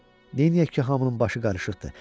Neyneyək ki, hamının başı qarışıqdır.